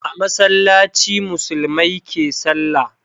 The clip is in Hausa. A masallaci musulmai ke salla